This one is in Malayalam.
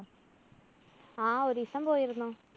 ആ ഒരീസം പോയിരുന്നു.